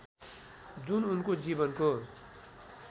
जुन उनको जीवनको